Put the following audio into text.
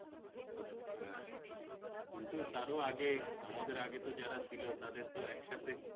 হ্যা কিন্তু তারও আগে আমাদের আগে যারা ছিল তাদের তো একসাথে